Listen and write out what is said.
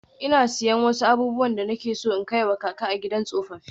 Ina siyan wasu abubuwan da nake so in kai wa kaka a gidan tsofaffi.